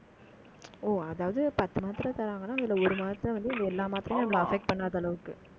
ஓ அதாவது பத்து மாத்திரை தர்றாங்கன்னா, இதுல ஒரு மாத்திரை வந்து, எல்லா மாத்திரையும் நம்மளை affect பண்ணாத அளவுக்கு